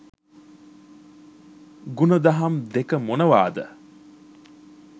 ගුණදහම් දෙක මොනවාද?